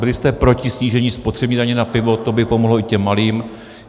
Byli jste proti snížení spotřební daně na pivo, to by pomohlo i těm malým.